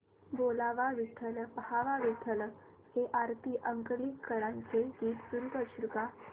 बोलावा विठ्ठल पहावा विठ्ठल हे आरती अंकलीकरांचे गीत सुरू कर